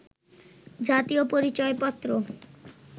জাতীয় পরিচয় পত্র